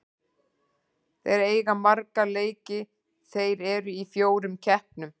Þeir eiga marga leiki, þeir eru í fjórum keppnum.